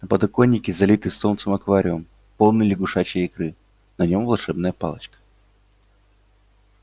на подоконнике залитый солнцем аквариум полный лягушачьей икры на нём волшебная палочка